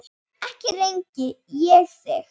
ekki rengi ég þig.